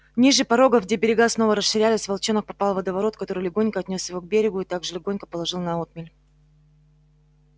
ниже порогов где берега снова расширялись волчонок попал в водоворот который легонько отнёс его к берегу и так же легонько положил на отмель